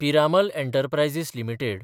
Piramal enterprises limited